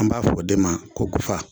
An b'a fɔ de ma ko gɔfa.